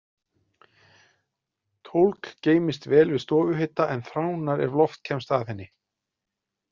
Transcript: Tólg geymist vel við stofuhita, en þránar ef loft kemst að henni.